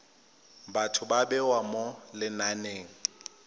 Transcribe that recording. batho ba bewa mo lenaneng